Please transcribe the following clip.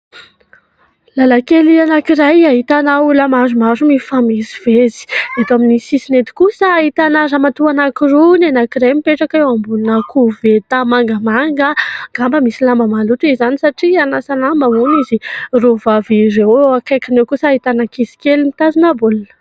Lalan-kely anakiray ahitana olona maromaro mifamezivezy eto amin'ny sisiny etỳ kosa ahitana ramatoa anakiroa ny anakiray mipetraka eo ambonina "koveta" mangamanga ngamba misy lamba maloto izany satria hanasa lamba hono izy roa vavy ireo. Eo akaikiny eo kosa ahitana ankizy kely mitazona baolina.